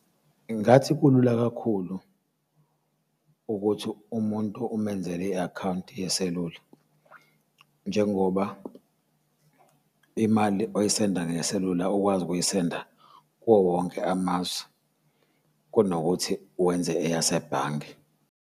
Ngingathi kulula kakhulu ukuthi umuntu umenzele i-akhawunti yeselula njengoba imali oyisenda ngeselula ukwazi ukuyisenda kuwo wonke amazwe kunokuthi wenze eyasebhange.